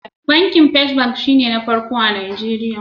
Bankin First bank shi ne na farko a Nigeria.